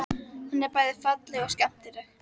Hún er bæði falleg og skemmtileg.